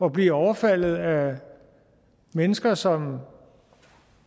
at blive overfaldet af mennesker som